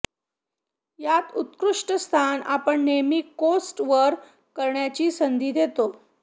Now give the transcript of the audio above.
या उत्कृष्ट स्थान आपण नेहमी कोस्ट वर करण्याची संधी देतो